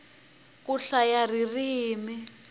ku hlaya ririmi